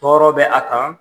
Tɔɔrɔ bɛ a kan